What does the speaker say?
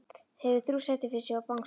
Hefur þrjú sæti fyrir sig og bangsa.